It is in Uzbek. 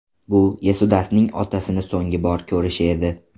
Bu Yesudasning otasini so‘nggi bor ko‘rishi edi.